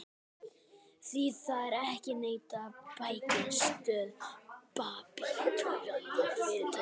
Því er ekki að neita: bækistöð babúítanna var fyrirtaks íverustaður.